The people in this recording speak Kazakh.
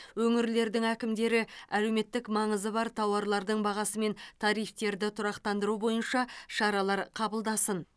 өңірлердің әкімдері әлеуметтік маңызы бар тауарлардың бағасы мен тарифтерді тұрақтандыру бойынша шаралар қабылдасын